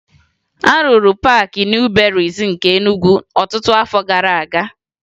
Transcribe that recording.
A rụrụ Paakị Nịu Berịịsị nke Enugwu ọtụtụ afọ gara aga